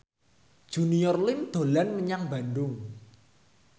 Junior Liem dolan menyang Bandung